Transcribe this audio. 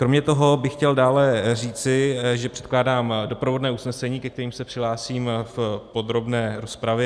Kromě toho bych chtěl dále říci, že předkládám doprovodné usnesení, ke kterému se přihlásím v podrobné rozpravě.